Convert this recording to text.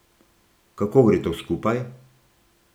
Kako gre to skupaj?